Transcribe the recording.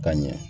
Ka ɲɛ